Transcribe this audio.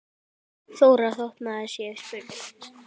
Þóra: Þótt maður sé spurður?